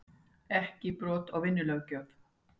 Ekki brot á vinnulöggjöf